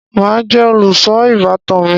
Màá jẹ olùṣọ ìbátan mi.